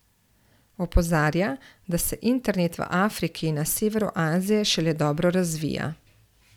Opozarja, da se internet v Afriki in na severu Azije šele dobro razvija.